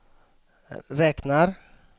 räknar